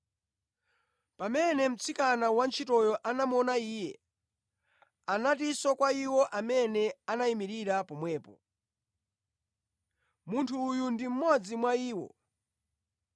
Pamene mtsikana wantchitoyo anamuona iye, anatinso kwa iwo amene anayimirira pomwepo, “Munthu uyu ndi mmodzi mwa iwo.”